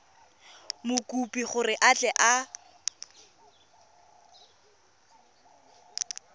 mokopi gore a tle a